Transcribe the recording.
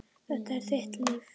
Þetta er þitt líf